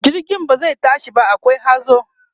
jirgin ba zai tashi ba akwai hazo